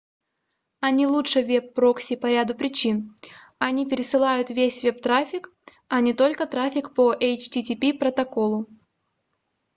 они лучше веб-прокси по ряду причин: они пересылают весь веб-трафик а не только трафик по http-протоколу